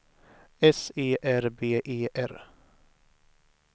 S E R B E R